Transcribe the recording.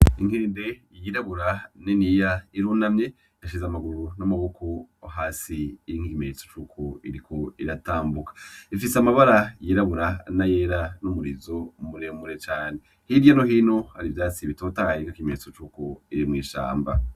Inkende y'irabura niniya irunamye ishize amaguru n'amaboko hasi nk'ikimenyetso cuko iriko iratambuka ifise amabara y'irabura na yera n'umurizo muremure cane hirya no hino hari ivyatsi bitotahaye nk'ikimenyetso cuko iri mw'ishamba.